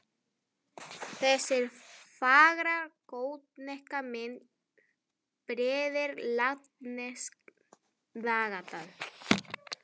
Þessi fagra gotneska mynd prýðir latneskt dagatal.